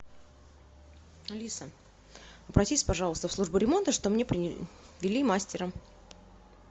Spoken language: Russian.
алиса обратись пожалуйста в службу ремонта чтоб мне привели мастера